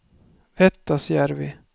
Vettasjärvi